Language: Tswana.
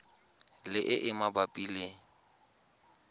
le e e mabapi le